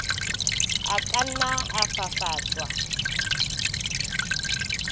a ka nna a fafatswa